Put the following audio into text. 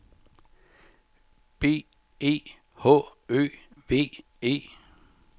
B E H Ø V E